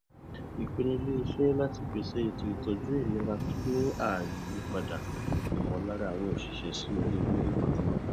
ìpinnu iléiṣẹ láti pèsè ètò ìtọju ilera tó ní ààyè yí padà ìmọlára àwọn òṣìṣẹ sí rere lórí pátápátá